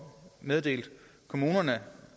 meddelt kommunerne